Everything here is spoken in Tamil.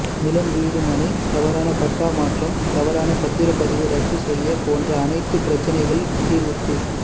நிலம் வீடு மனை தவறான பட்டா மாற்றம் தவறான பத்திரப் பதிவு ரத்து செய்ய போன்ற அனைத்து பிரச்சனைகள் தீர்வுக்கு